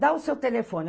Dá o seu telefone.